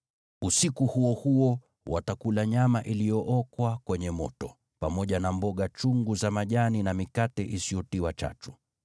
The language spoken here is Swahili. Usiku huo huo watakula nyama iliyookwa kwenye moto, pamoja na mboga chungu za majani na mikate isiyotiwa chachu.